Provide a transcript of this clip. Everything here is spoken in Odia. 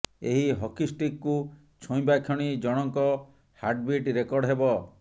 ଏହି ହକି ଷ୍ଟିକକୁ ଛୁଇଁବା କ୍ଷଣି ଜଣଙ୍କ ହାର୍ଟବିଟ୍ ରେକର୍ଡ ହେବ